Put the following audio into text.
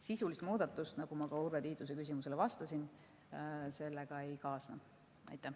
Sisulist muudatust, nagu ma ka Urve Tiiduse küsimusele vastasin, sellega ei kaasne.